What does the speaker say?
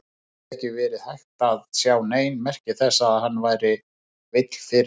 Það hafði ekki verið hægt að sjá nein merki þess að hann væri veill fyrir.